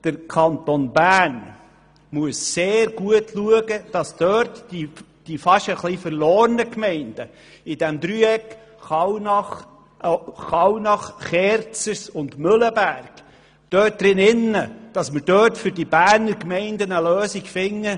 Der Kanton Bern muss sehr gut schauen, dass die fast etwas verlorenen Gemeinden im Dreieck Kallnach, Kerzers und Mühleberg eine Lösung innerhalb des Kantons Bern finden.